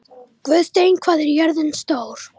Guðsteinn, hvað er jörðin stór?